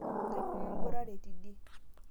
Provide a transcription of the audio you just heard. kangae eburare tidie